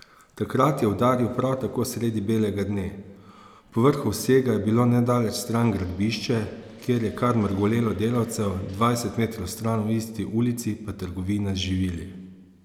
Takrat je udaril prav tako sredi belega dne, povrhu vsega je bilo nedaleč stran gradbišče, kjer je kar mrgolelo delavcev, dvajset metrov stran v isti ulici pa trgovina z živili.